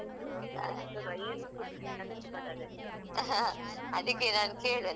ಅದಿಕ್ಕೆ ನಾನೂ ಕೇಳ್ದೆ ನಂಗೆ ತುಂಬ ಇಷ್ಟ ಕಲೀಬೇಕಂತ ಆಯ್ತಾ.